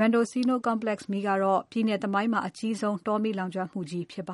Mendocino Complex မီးကတော့ ပြည်နယ်သမိုင်းမှာ အကြီးဆုံး တောမီးလောင်ကျွမ်းမှုကြီးဖြစ်ပါ